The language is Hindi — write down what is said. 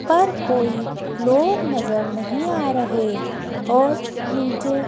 पर कोई लोग नजर नहीं आ रहे और नीचे--